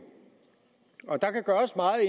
også meget